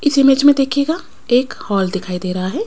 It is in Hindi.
इस ईमेज में देखिएगा एक हॉल दिखाई दे रहा है।